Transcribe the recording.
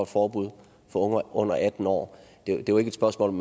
forbud for unge under atten år det er jo ikke et spørgsmål om